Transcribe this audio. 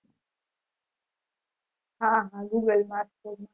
હા હા